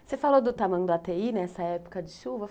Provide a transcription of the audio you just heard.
Você falou do tamanho do Tamanduateí nessa época de chuva.